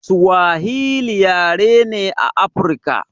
Suwahili yare ne a afruka